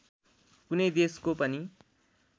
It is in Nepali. कुनै देशको पनि